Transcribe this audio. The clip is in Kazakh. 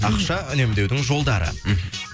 ақша үнемдеудің жолдары мхм